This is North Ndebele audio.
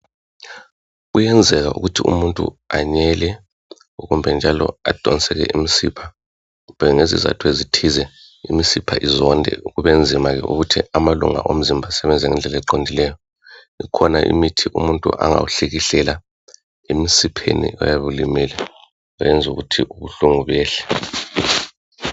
Kuyenzeka ukuthi umuntu anyele kumbe njalo adonseke imsipha kodwa ngezizatho ezithile imsipha izonde kubenzima ukuthi amalunga omzimba asebenze ngendlela eqondileyo ikhona imithi umuntu angawuhlikihlela emsipheni oyabe ulimele ukwenzela ukuthi ubuhlungu buyehle.